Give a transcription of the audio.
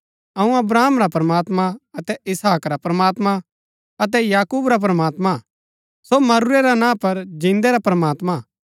अऊँ अब्राहम रा प्रमात्मां अतै इसहाक रा प्रमात्मां अतै याकूब रा प्रमात्मां हा सो मरूरै रा ना पर जिन्दै रा प्रमात्मां हा